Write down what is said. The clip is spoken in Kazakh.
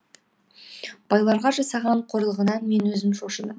байларға жасаған қорлығынан мен өзім шошыдым